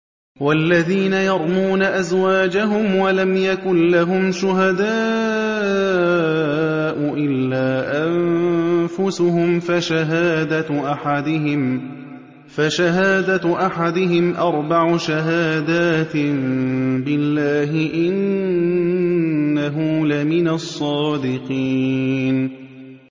وَالَّذِينَ يَرْمُونَ أَزْوَاجَهُمْ وَلَمْ يَكُن لَّهُمْ شُهَدَاءُ إِلَّا أَنفُسُهُمْ فَشَهَادَةُ أَحَدِهِمْ أَرْبَعُ شَهَادَاتٍ بِاللَّهِ ۙ إِنَّهُ لَمِنَ الصَّادِقِينَ